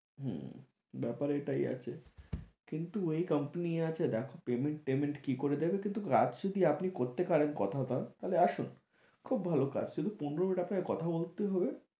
হম ব্যাপার এটাই আছে কিন্তু এই কোম্পানি আছে দেখো পেমেন্ট টেমেন্ট কি করে দেবে কিন্তু কাজ যদি আপনি করতে পারেন কথা দাও তাহলে আসুন খুব ভালো কাজ শুধু পনেরো টাকায় কথা বলতে হবে